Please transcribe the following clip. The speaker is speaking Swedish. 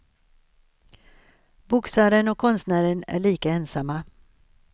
Boxaren och konstnären är lika ensamma.